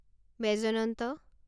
ৎ